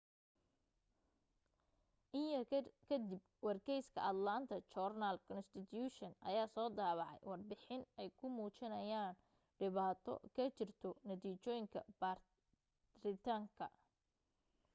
in yar ka dib wargeyska atlanta journal-constitution ayaa soo daabacay warbixin ay ku muujinayaan dhibaato ka jirto natiijooyinka baaritaanka